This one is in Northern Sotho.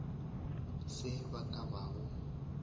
se ba ka ba go